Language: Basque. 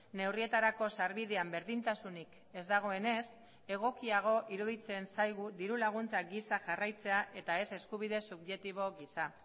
neurrietarako sarbidean berdintasunik ez dagoenez egokiago iruditzen zaigu diru laguntzak gisa jarraitzea eta ez eskubide subjektibo gisa